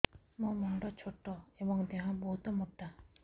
ମୋ ମୁଣ୍ଡ ଛୋଟ ଏଵଂ ଦେହ ବହୁତ ମୋଟା